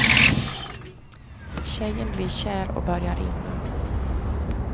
Tjejen blir kär och börjar ringa.